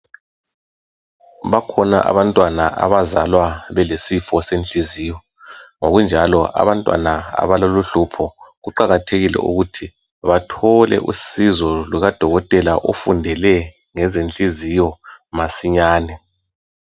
Bakhona abantwana abazalwa belesifo senhliziyo, ngokunjalo abantwana abalaloluhlupho kuqakathekile ukuthi bathole usizo lukadokotela ofundele ngezenhliziyo masinyane.